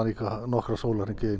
nokkra sólarhringa í einu